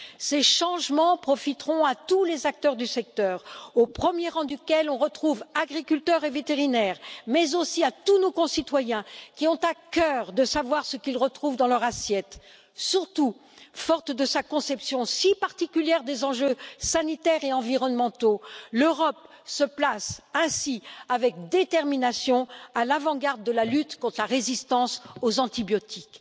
Ces changements profiteront à tous les acteurs du secteur au premier rang duquel on retrouve agriculteurs et vétérinaires, mais aussi à tous nos concitoyens qui ont à cœur de savoir ce qu'ils retrouvent dans leur assiette. Surtout, forte de sa conception si particulière des enjeux sanitaires et environnementaux, l'Europe se place ainsi avec détermination à l'avant garde de la lutte contre la résistance aux antibiotiques.